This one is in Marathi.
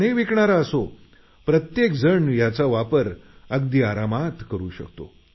सर्वजण याचा वापर करू शकतात